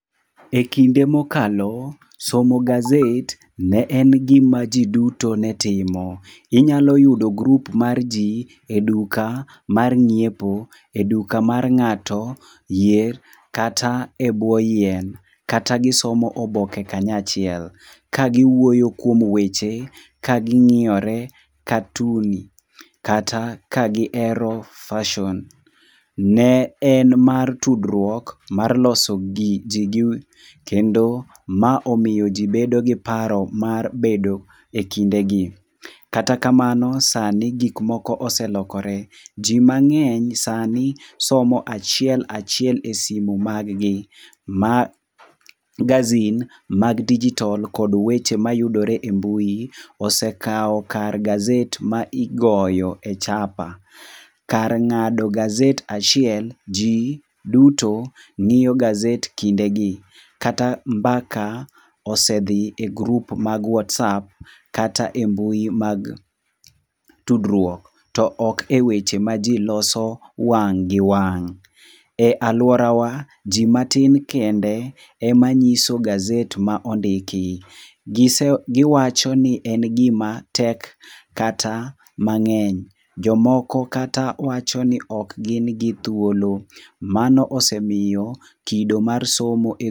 Ekinde mokalo, somo gazet ne en gima ji duto ne timo. Inyalo yudo grup mar ji eduka mar ng'iepo, eduka mar ng'ato, yier kata ebwo yien. Kata gisomo oboke kanyachiel kagiwuoyo kuom weche, kaging'iyore katun kata ka gihero fason. Ne en mar tudruok, mar loso gir ji kendo ma omiyo ji bedo gi paro mar bedo ekinde gi. Kata kamano sani gik moko ose lokore. Ji mang'eny sani somo achiel, achiel esimu mag gi. Magasin mag dijitol kod weche mayudore e mbui ose kawo kar gazet mosegoyo e chapa. Kar ng'ado gazet achiel, ji duto ng'iyo gazet kindegi. Kata mbaka osedhi e grup mag whatsapp kata e mbui mag tudruok, to ok e weche ma ji loso wang' gi wang'. E aluorawa, ji matin kende ema nyiso gazet ma ondiki. Gise giwacho ni en gima tek kata mang'eny. Jomoko kata wacho ni ok gin gi thuolo. Mano osemiyo kido mar somo e..